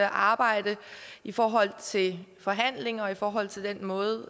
arbejde i forhold til forhandlinger og i forhold til den måde